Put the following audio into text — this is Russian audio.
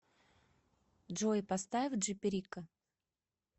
джой поставь джи перико